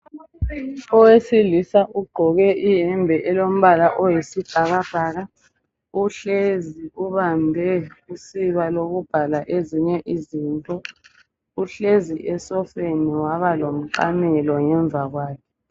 Owesilisa ugqoke ihembe elombala oyisibhakabhaka uhlezi ubambe usiba lokubhala ezinye izinto uhlezi esofeni waba lomqamelo ngemva kwakhe .